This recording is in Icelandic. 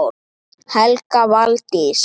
Helga Valdís.